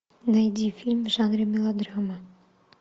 найди фильм в жанре мелодрама